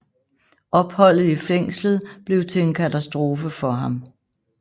Opholdet i fængslet blev til en katastrofe for ham